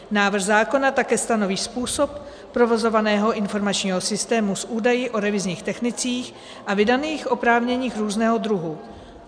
Návrh zákona také stanoví způsob provozovaného informačního systému s údaji o revizních technicích a vydaných oprávněních různého druhu.